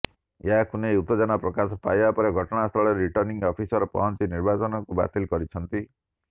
ଏହାକୁ ନେଇ ଉତ୍ତେଜନା ପ୍ରକାଶ ପାଇବା ପରେ ଘଟଣାସ୍ଥଳରେ ରିଟର୍ଣ୍ଣିଂ ଅଫିସର ପହଞ୍ଚି ନିର୍ବାଚନକୁ ବାତିଲ କରିଛନ୍ତି